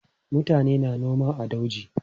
Mutane na noma a dauji.